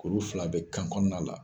Kuru fana be kan kɔnɔna la